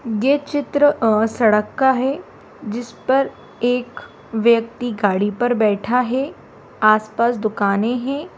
ये चित्र अ सड़क का है जिसपर एक व्यक्ति गाड़ी पर बैठा है आस-पास दुकाने है।